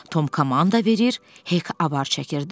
Tom komanda verir, Hek avar çəkirdi.